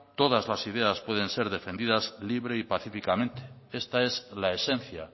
todas la ideas pueden ser defendidas libre y pacíficamente esta es la esencia